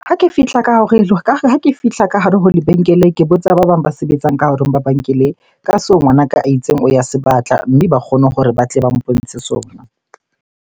Ha ke fihla ka hare ho lebenkele, ke botsa ba bang ba sebetsang ka hore ba ka seo ngwanaka a itseng o ya se batla, mme ba kgone hore ba tle ba mpontshe sona.